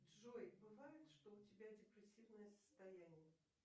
джой бывает что у тебя депрессивное состояние